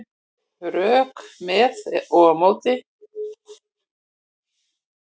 Rök með og á móti